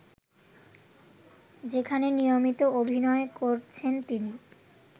যেখানে নিয়মিত অভিনয় করছেন তিনি